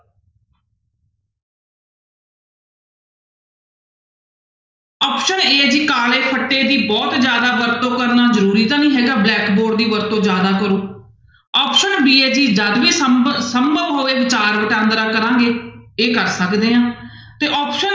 Option a ਹੈ ਜੀ ਕਾਲੇ ਫੱਟੇ ਦੀ ਬਹੁਤ ਜ਼ਿਆਦਾ ਵਰਤੋਂ ਕਰਨਾ ਜ਼ਰੂਰੀ ਤਾਂ ਨੀ ਹੈਗਾ blackboard ਦੀ ਵਰਤੋਂ ਜ਼ਿਆਦਾ ਕਰੋ option b ਹੈ ਜੀ ਸੰਭ~ ਸੰਭਵ ਹੋਵੇ ਵਿਚਾਰ ਵਟਾਂਦਰਾ ਕਰਾਂਗੇ ਇਹ ਕਰ ਸਕਦੇ ਹਾਂ ਤੇ option